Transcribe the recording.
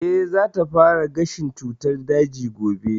Eh, za ta fara gashin cutar daji gobe